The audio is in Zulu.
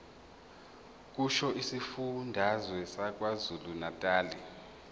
kusho isifundazwe sakwazulunatali